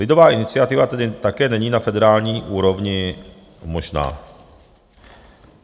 Lidová iniciativa tedy také není na federální úrovni možná.